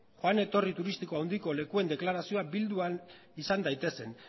joan etorri turistiko handiko lekuen deklarazioa bildu ahal izan daitezen